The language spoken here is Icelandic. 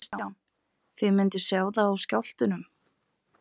Kristján: Þið mynduð sjá það á skjálftunum?